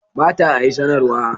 Ba ta a yi sanarwa.